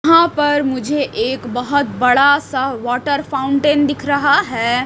हां पर मुझे एक बहोत बड़ा सा वॉटर फाउंटेन दिख रहा है।